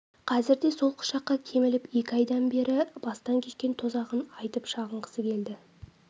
қазір де сол құшаққа көміліп екі айдан бергі бастан кешкен тозағын айтып шағынғысы келді